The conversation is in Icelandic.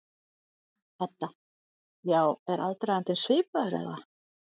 Edda: Já, er aðdragandinn svipaður eða?